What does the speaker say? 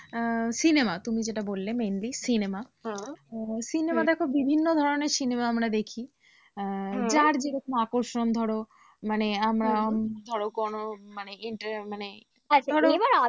আহ cinema তুমি যেটা বললে mainly cinema cinema দেখো বিভিন্ন ধরনের cinema আমরা আহ যার যেরকম আকর্ষণ ধরো, মানে আমরা ধরো কোন interest মানে